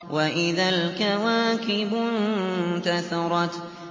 وَإِذَا الْكَوَاكِبُ انتَثَرَتْ